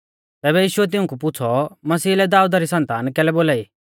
तैबै यीशुऐ तिऊंकु पुछ़ौ मसीही लै दाऊदा री सन्तान कैलै बोलाई